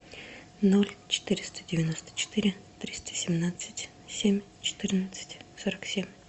ноль четыреста девяносто четыре триста семнадцать семь четырнадцать сорок семь